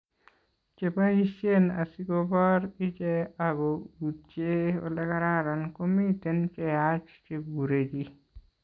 cheboishen asigoboor iche ago utye olegararan komiten cheyach cheguree chi